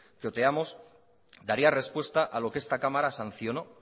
que oteamos daría respuesta a lo que esta cámara sancionó